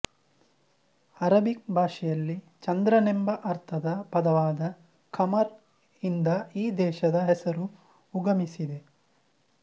Arabic ಭಾಷೆಯಲ್ಲಿ ಚಂದ್ರನೆಂಬ ಅರ್ಥದ ಪದವಾದ ಖಮರ್ ಇಂದ ಈ ದೇಶದ ಹೆಸರು ಉಗಮಿಸಿದೆ